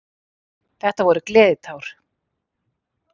Þetta voru gleðitár.